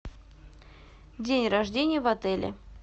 день рождения в отеле